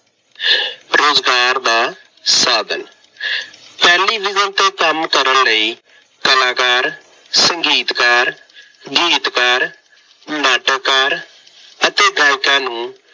ਰੁਜ਼ਗਾਰ ਦਾ ਸਾਧਨ- ਟੈਲੀਵਿਜ਼ਨ ਤੇ ਕੰਮ ਕਰਨ ਲਈ ਕਲਾਕਾਰ, ਸੰਗੀਤਕਾਰ, ਗੀਤਕਾਰ, ਨਾਟਕਕਾਰ ਅਤੇ ਗਾਇਕਾਂ ਨੂੰ